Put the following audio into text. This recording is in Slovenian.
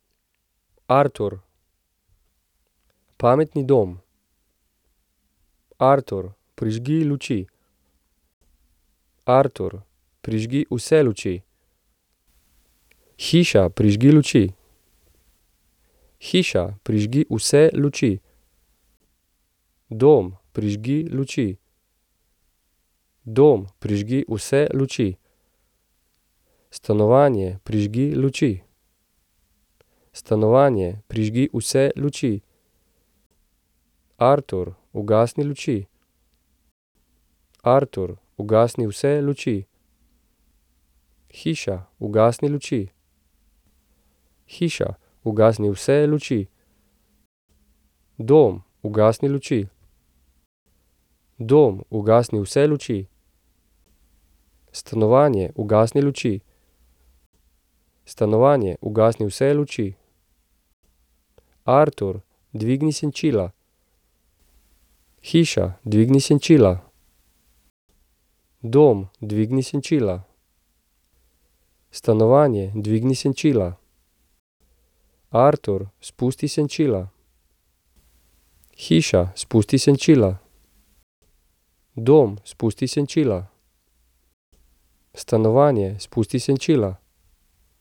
Artur. Pametni dom. Artur, prižgi luči. Artur, prižgi vse luči. Hiša, prižgi luči. Hiša, prižgi vse luči. Dom, prižgi luči. Dom, prižgi vse luči. Stanovanje, prižgi luči. Stanovanje, prižgi vse luči. Artur, ugasni luči. Artur, ugasni vse luči. Hiša, ugasni luči. Hiša, ugasni vse luči. Dom, ugasni luči. Dom, ugasni vse luči. Stanovanje, ugasni luči. Stanovanje, ugasni vse luči. Artur, dvigni senčila. Hiša, dvigni senčila. Dom, dvigni senčila. Stanovanje, dvigni senčila. Artur, spusti senčila. Hiša, spusti senčila. Dom, spusti senčila. Stanovanje, spusti senčila.